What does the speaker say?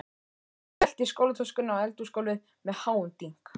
Hún skellti skólatöskunni á eldhúsgólfið með háum dynk.